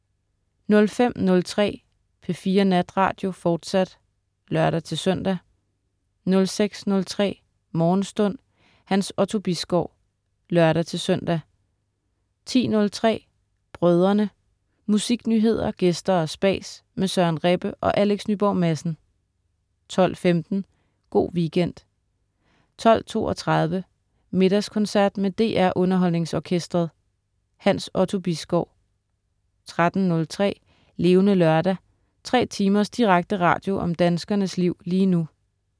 05.03 P4 Natradio, fortsat (lør-søn) 06.03 Morgenstund. Hans Otto Bisgaard (lør-søn) 10.03 Brødrene. Musiknyheder, gæster og spas med Søren Rebbe og Alex Nyborg Madsen 12.15 Go' Weekend 12.32 Middagskoncert med DR Underholdningsorkestret. Hans Otto Bisgaard 13.03 Levende Lørdag. Tre timers direkte radio om danskernes liv lige nu